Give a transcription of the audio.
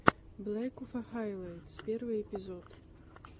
блэкуфа хайлайтс первый эпизод